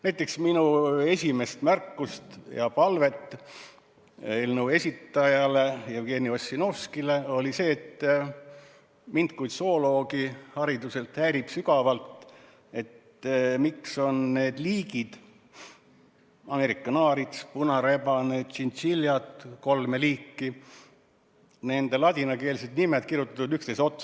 Näiteks, minu esimene märkus ja palve eelnõu esitajale Jevgeni Ossinovskile oli see, et mind kui hariduselt zooloogi häirib sügavalt, miks on Ameerika naaritsa, punarebase ja kolme liiki tšintšiljade ladinakeelsed nimed kirjutatud üksteise otsa.